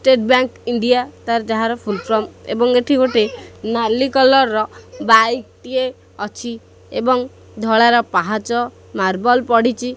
State bank India ତାର ଯାହାର full form ଏବଂ ଏଠି ଗୋଟେ ନାଲି କଲର୍ ର ବାଇକ୍ ଟିଏ ଅଛି ଏବଂ ଧଳାର ପାହାଚ ମାର୍ବଲ ପଡ଼ିଚି ।